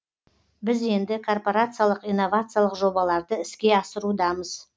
біз енді корпорациялық инновациялық жобаларды іске асырудамыз